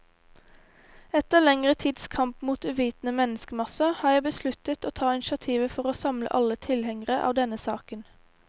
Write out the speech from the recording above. Etter lengre tids kamp mot uvitende menneskemasser, har jeg besluttet å ta initiativet for å samle alle tilhengere av denne saken.